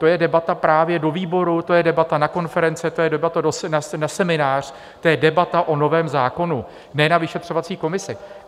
To je debata právě do výboru, to je debata na konference, to je debata na seminář, to je debata o novém zákonu, ne na vyšetřovací komisi.